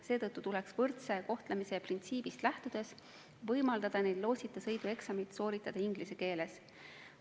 Seetõttu tuleks võrdse kohtlemise printsiibist lähtudes võimaldada neil lootsita sõidu eksamit sooritada inglise keeles.